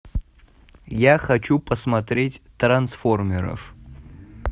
я хочу посмотреть трансформеров